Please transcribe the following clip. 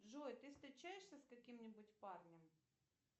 джой ты встречаешься с каким нибудь парнем